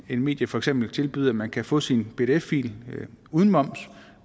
et medie for eksempel tilbyder at man kan få sin pdf fil uden moms